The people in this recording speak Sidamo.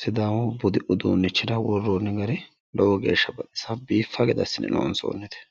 sidaamu budu uduunnichira worroonni gari lowo geeshsha baxisanno biiffanno gede assine loonsoonnite.